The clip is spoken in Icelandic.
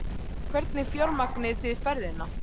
Hvernig fjármagnið þið ferðina?